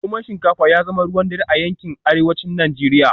Noman shinkafa ya zama ruwan dare a yankin Arewacin Najeriya